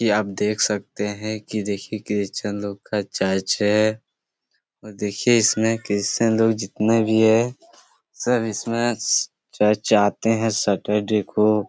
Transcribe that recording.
ये आप देख सकते है कि देखिये क्रिस्चन लोग का चर्च है और देखिये इसमें क्रिस्चन लोग जितने भी है सब इसमें चर्च आते है सैटरडे को--